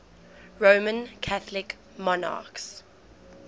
roman catholic monarchs